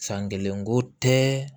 San kelen ko tɛ